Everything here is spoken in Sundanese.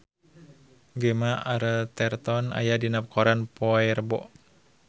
Gemma Arterton aya dina koran poe Rebo